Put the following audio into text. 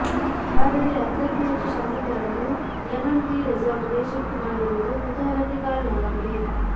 ಆದರೆ ಅರ್ಧಕ್ಕೂ ಹೆಚ್ಚು ಶಾಸಕರನ್ನು ಲೆಮೆನ್ ಟ್ರೀ ರೆಸಾರ್ಟ್ಗೆ ಶಿಫ್ಟ್ ಮಾಡಿರುವುದು ಕುತೂಹಲಕ್ಕೆ ಕಾರಣವಾಗಿದೆ